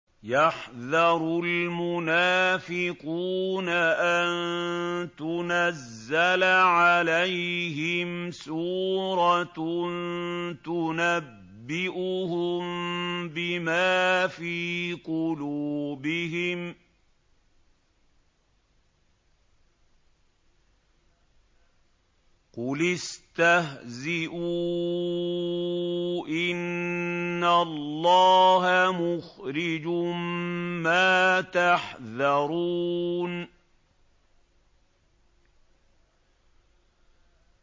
يَحْذَرُ الْمُنَافِقُونَ أَن تُنَزَّلَ عَلَيْهِمْ سُورَةٌ تُنَبِّئُهُم بِمَا فِي قُلُوبِهِمْ ۚ قُلِ اسْتَهْزِئُوا إِنَّ اللَّهَ مُخْرِجٌ مَّا تَحْذَرُونَ